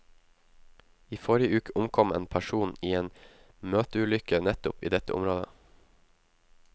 I forrige uke omkom en person i en møteulykke nettopp i dette området.